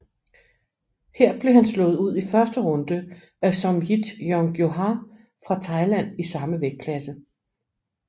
Her blev han slået ud i første runde af Somjit Jongjohor fra Thailand i samme vægtklasse